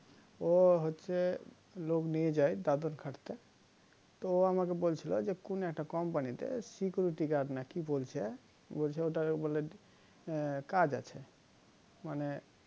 ও হচ্ছে লোক নিয়ে যায় দাদন খাটতে ত ও আমাকে বলছিল যে কোন একটা company তে security guard না কি বলছে বলছে ও টারে বলে কাজ আছে মানে